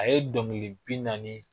A ye dɔnkili bi naani